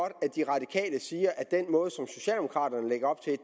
at de radikale siger at